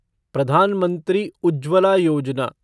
Pradhan Mantri Ujjwala Yojana